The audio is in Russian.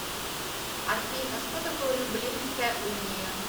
афина что такое люблинская уния